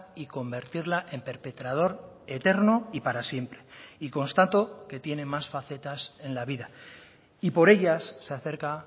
y convertirla en perpetrador eterno y para siempre y constato que tiene más facetas en la vida y por ellas se acerca